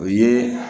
O ye